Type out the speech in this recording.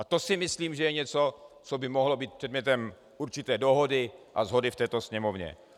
A to si myslím, že je něco, co by mohlo být předmětem určité dohody a shody v této Sněmovně.